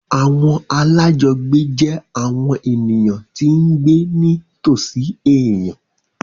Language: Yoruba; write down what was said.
Àwọn alájọgbé jẹ́ àwọn ènìyàn tí ń gbé ní tòsí èèyàn